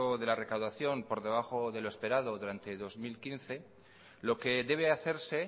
de la recaudación por debajo de lo esperado durante el dos mil quince lo que debe hacerse